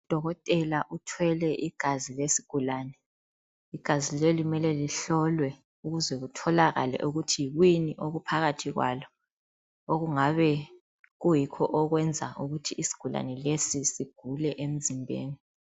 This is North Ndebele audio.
Udokotela uthwele igazi lesigulane. Igazi leli mele lihlolwe ukuze kutholakale ukuthi yikuyini okuphakathi kwalo, okungabe kuyikho okwenza ukuthi isigulane lesi sigule emzimbeni.